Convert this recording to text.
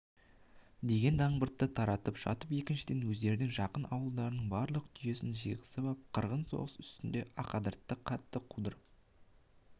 деген дақбыртты таратып жатып екіншіден өздерінің жақын ауылдарының барлық түйесін жиғызып ап қырғын соғыс үстінде ақадырдан қатты қудырып